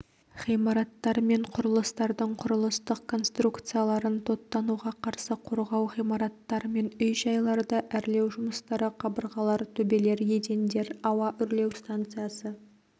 ғимараттар мен құрылыстардың құрылыстық конструкцияларын тоттануға қарсы қорғау ғимараттар мен үй-жайларды әрлеу жұмыстары қабырғалар төбелер едендер ауа үрлеу станциясы